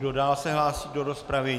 Kdo dál se hlásí do rozpravy?